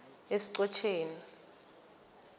esichotjeni